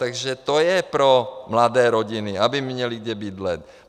Takže to je pro mladé rodiny, aby měly kde bydlet.